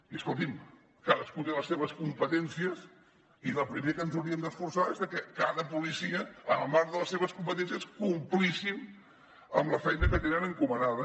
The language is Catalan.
i escolti’m cadascú té les seves competències i del primer que ens hauríem d’esforçar és de que cada policia en el marc de les seves competències complís amb la feina que té encomanada